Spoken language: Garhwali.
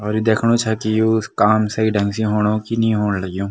और यु दिख्नु छा की यु काम सई ढंग से हुणु की नी हूँण लग्युं।